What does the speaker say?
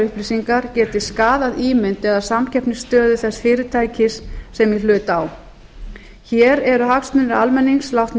upplýsingar geti skaðað ímynd eða samkeppnisstöðu þess fyrirtækis sem í hlut á hér eru hagsmunir almennings látnir